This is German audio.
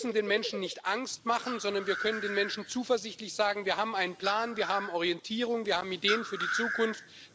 Wir dürfen den Menschen nicht Angst machen, sondern wir können den Menschen zuversichtlich sagen Wir haben einen Plan, wir haben Orientierung, wir haben Ideen für die Zukunft.